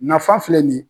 Nafan filɛ nin ye